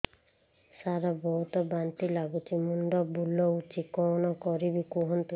ସାର ବହୁତ ବାନ୍ତି ଲାଗୁଛି ମୁଣ୍ଡ ବୁଲୋଉଛି କଣ କରିବି କୁହନ୍ତୁ